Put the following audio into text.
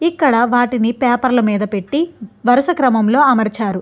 ఇక్కడ వాటిని పేపర్ల మీద పెట్టి వరుస క్రమంలో అమర్చారు.